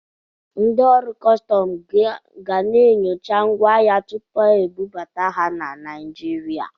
Ndị ọrụ kọstọm ga na-enyocha ngwa ahịa tupu ebubata ha na Naịjirịa.